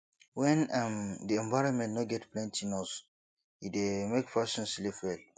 when um di environment no get plenty nose e dey make person sleep well